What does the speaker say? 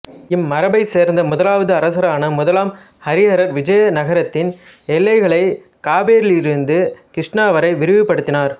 இம் மரபைச் சேர்ந்த முதலாவது அரசரான முதலாம் ஹரிஹரர் விஜயநகரத்தின் எல்லைகளைக் காவிரியிலிருந்து கிருஷ்ணா வரை விரிவு படுத்தினார்